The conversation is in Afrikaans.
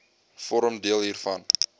vorm deel hiervan